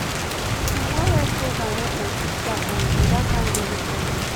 na one health program help my sister um with that kind belly problem